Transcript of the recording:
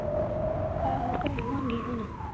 ਆਹੋ ਕਰਾਵਾਂਗੀ ਹੁਣ